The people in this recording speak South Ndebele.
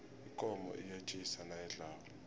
ikomo iyetjisa nayidlako